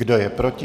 Kdo je proti?